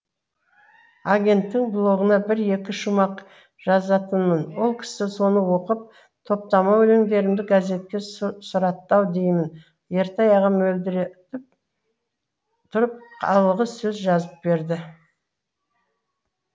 агенттің блогына бір екі шумақ жазатынмын ол кісі соны оқып топтама өлеңдерімді газетке сұратты ау деймін ертай ағам мөлдіретіп тұрып алғысөз жазып берді